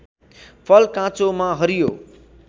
फल काँचोमा हरियो